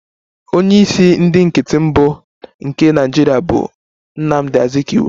Onye isi ndị nkịtị mbụ nke Nigeria bụ Nnamdi Azikiwe